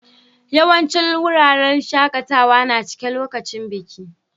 Yawancin wuraren shakatawa na cike lokacin biki.